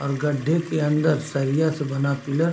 और गड्ढे के अंदर सरिया से बना पिलर --